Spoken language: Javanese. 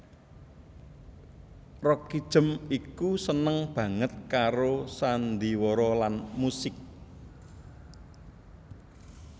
Roekijem iku seneng banget karo sandiwara lan musik